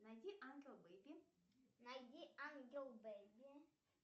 найди ангел бэби найди ангел бэби